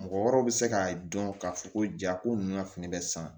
Mɔgɔ wɛrɛw bɛ se k'a dɔn k'a fɔ ko jaako ninnu ka fini bɛ san